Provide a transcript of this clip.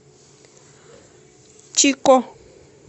чико